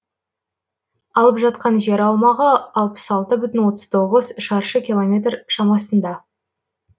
алып жатқан жер аумағы алпыс алты бүтін отыз тоғыз шаршы километр шамасында